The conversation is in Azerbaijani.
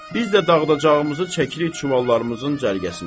Biz də dağıdacağımızı çəkirik çuvallarımızın cərgəsinə.